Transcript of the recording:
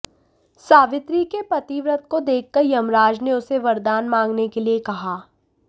सावित्री के पतिव्रत को देखकर यमराज ने उसे वरदान मांगने के लिए कहा